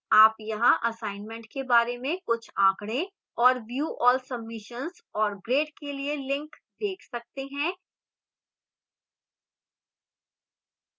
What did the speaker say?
आप यहां assignment के बारे में कुछ आंकड़े